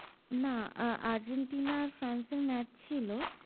না আহ আৰ্জেণ্টিনা আর ফ্রান্সের match ছিল।